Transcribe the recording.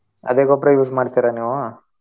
ಅದೇ ಗೊಬ್ರಾ use ಮಾಡ್ತೀರಾ ನೀವು?